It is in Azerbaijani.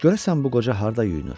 Görəsən bu qoca harda yuyunur?